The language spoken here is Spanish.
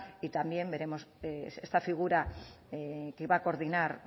y también veremos esta figura que va a coordinar